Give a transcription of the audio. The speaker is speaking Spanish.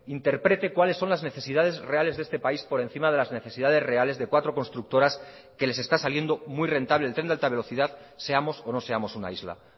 interprete cuáles son las necesidades reales de este país por encima de las necesidades reales de cuatro constructoras que les está saliendo muy rentable el tren de alta velocidad seamos o no seamos una isla